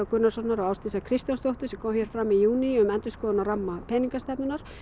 Gunnarssonar og Ásdísar Kristjánsdóttur sem kom fram í júní um endurskoðun á ramma peningastefnunnar